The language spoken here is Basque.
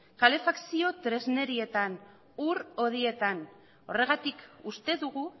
kalefakzio tresnerietan ur hodietan horregatik uste dugu